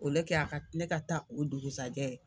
a ka ne ka taa o dugusɛjɛ